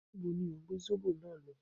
Níbo ni òhún gbé Zóbò náà lọ?